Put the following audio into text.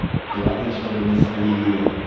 главное чтобы не с оливье